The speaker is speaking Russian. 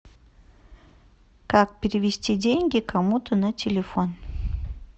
как перевести деньги кому то на телефон